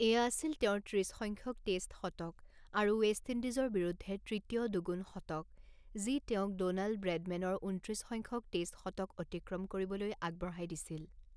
এয়া আছিল তেওঁৰ ত্ৰিছ সংখ্যক টেষ্ট শতক আৰু ৱেষ্ট ইণ্ডিজৰ বিৰুদ্ধে তৃতীয় দুগুণ শতক যি তেওঁক ড'নাল্ড ব্ৰেডমেনৰ ঊনত্ৰিছ সংখ্যক টেষ্ট শতক অতিক্ৰম কৰিবলৈ আগবঢ়াই দিছিল।